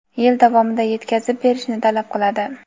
yil davomida yetkazib berishni talab qiladi.